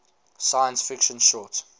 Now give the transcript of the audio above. science fiction short